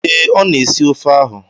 Ee, ọ na-esi ofe ahụ.